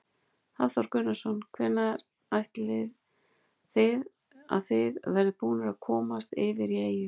Hafþór Gunnarsson: Hvenær áætlið þið að þið verðið búnir að komast yfir í eyju?